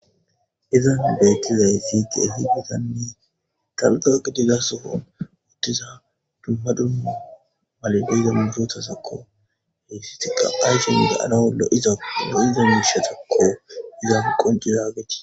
izan beettizay xitie hi dadanni taluxaak diggasofon wottiza dumma dumma malaliza murotasakko heyssitiqa ayshonde ana wollo iza no7iza miishatakko izaf qoncirageti